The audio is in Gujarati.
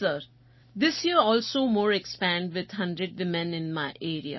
yes sir this year also more expand with 100 women in